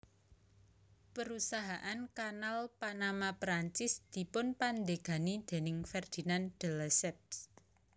Perusahaan Kanal Panama Perancis dipunpandegani déning Ferdinand de Lesseps